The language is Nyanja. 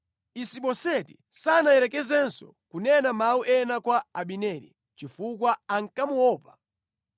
Isiboseti sanayerekezenso kunena mawu ena kwa Abineri, chifukwa ankamuopa.